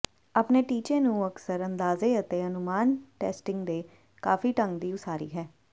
ਆਪਣੇ ਟੀਚੇ ਨੂੰ ਅਕਸਰ ਅੰਦਾਜ਼ੇ ਅਤੇ ਅਨੁਮਾਨ ਟੈਸਟਿੰਗ ਦੇ ਕਾਫੀ ਢੰਗ ਦੀ ਉਸਾਰੀ ਹੈ